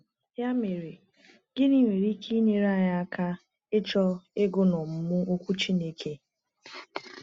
Ya mere, gịnị nwere ike inyere anyị aka ịchọ ịgụ na ọmụmụ Okwu Chineke?